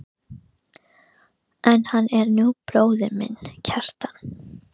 En hann er nú bróðir þinn, Kjartan.